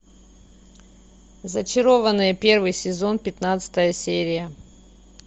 зачарованные первый сезон пятнадцатая серия